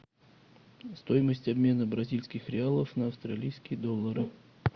стоимость обмена бразильских реалов на австралийские доллары